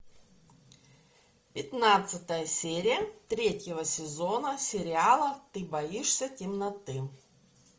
пятнадцатая серия третьего сезона сериала ты боишься темноты